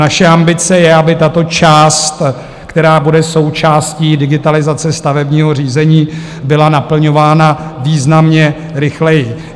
Naše ambice je, aby tato část, která bude součástí digitalizace stavebního řízení, byla naplňována významně rychleji.